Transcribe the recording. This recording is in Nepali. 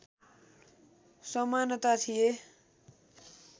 समानता थिए